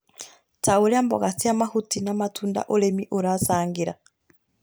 ta ũrĩa mboga cia mahuti, na matunda, ũrĩmi ũracangĩra